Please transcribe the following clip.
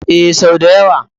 Ee, sau da yawa.